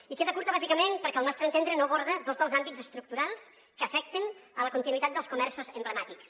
i queda curta bàsicament perquè al nostre entendre no aborda dos dels àmbits estructurals que afecten la continuïtat dels comerços emblemàtics